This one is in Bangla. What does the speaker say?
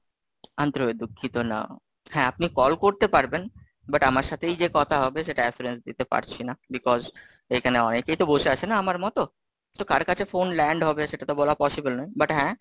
আন্তরিক ভাবে দুঃখিত হোলাম, হ্যাঁ আপনি call করতে পারবেন, butt আমার সাথেই যে কথা হবে সেটা Assurance দিতে পারছি না, because এখানে অনেকেই তো বসে আছে না, আমার মতো, তো কার কাছে phone land হবে সেটা তো বলা possible নয়, butt হ্যাঁ,